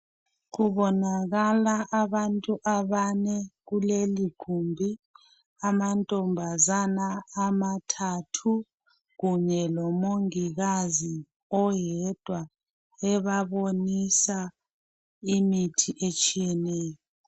Kubonakala abantu abane kulelo gumbi amantombazana amathathu kunye lomongikazi oyedwa ebabonisa imithi etshiyeneyo.